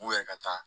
U yɛrɛ ka taa